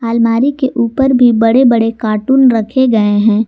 अलमारी के ऊपर भी बड़े बड़े कार्टून रखे गए हैं।